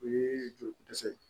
O ye joli ko dɛsɛ ye